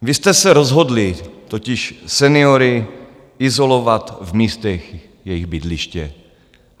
Vy jste se rozhodli totiž seniory izolovat v místech jejich bydliště.